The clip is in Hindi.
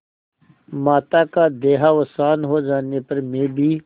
माता का देहावसान हो जाने पर मैं भी